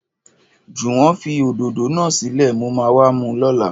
Jòwó fi òdòdó náà sílè, mo ma wá mu lóla